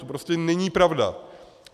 To prostě není pravda.